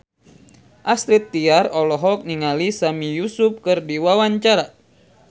Astrid Tiar olohok ningali Sami Yusuf keur diwawancara